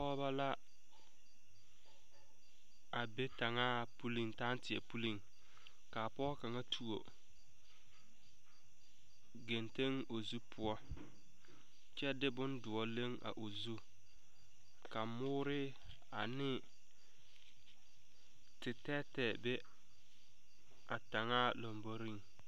Pɔgebɔ la a be taŋaa poliŋ taŋteɛ poliŋ kaa pɔge kaŋ tuo geŋteŋ o zu poɔ kyɛ de boŋ doɔ leŋ a o zu kyɛ ka mɔɔre a ne tetɛɛtɛɛ be a taŋaa lamboriŋ.